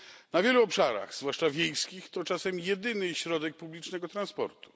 Na wielu obszarach, zwłaszcza wiejskich, to czasem jedyny środek publicznego transportu.